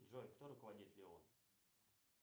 джой кто руководит леон